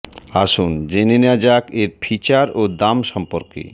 আসুন জেনে নেওয়া যাক এর ফিচার ও দাম সম্পর্কে